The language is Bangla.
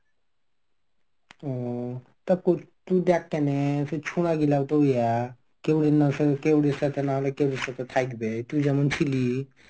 হম তা~ তুই দেখ কেনে সেই ছোরাগুলা তো ইয়া কেওর এর সাথে না কেওর এর সাথে থাকবে. তুই যেমন ছিলি.